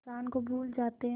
इंसान को भूल जाते हैं